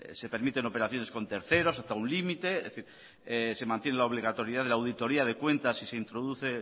se permiten operaciones con terceros hasta un límite es decir se mantiene la obligatoriedad de la auditoría de cuentas y se introduce